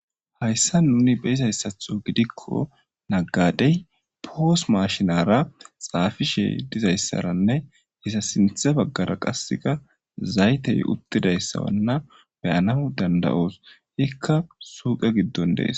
hayssa nuni beizayssatho gidikko naggadey poos mashinara xaafishe dizayssaranne isa sinthe baggara qasseka zaytey uttidayssawanna beyana dandayoos ikka suuqe giddon dees